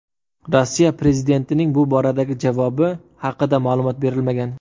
Rossiya prezidentining bu boradagi javobi haqida ma’lumot berilmagan.